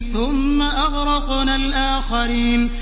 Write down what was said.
ثُمَّ أَغْرَقْنَا الْآخَرِينَ